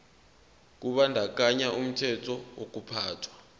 kubandakanya umthetho wokuphathwa